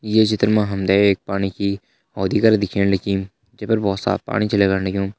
ये चित्र मा हम ते एक पाणी की होदि करा दिखेण लगीं जै पर बहोत साफ़ पाणी छ लगण लग्युं।